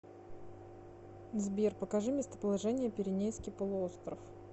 сбер покажи местоположение пиренейский полуостров